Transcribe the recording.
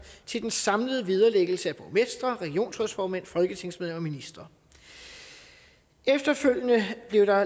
til den samlede vederlæggelse af borgmestre regionsrådsformænd folketingsmedlemmer og ministre efterfølgende blev der